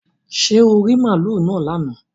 Ṣé oò rí màlúù náà lánàá